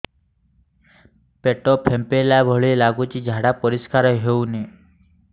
ପେଟ ଫମ୍ପେଇଲା ଭଳି ଲାଗୁଛି ଝାଡା ପରିସ୍କାର ହେଉନି